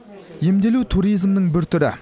емделу туризмнің бір түрі